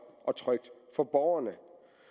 og trygt for borgerne